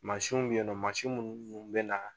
Mansinw bɛ yen mansinw mu munnu bɛ na.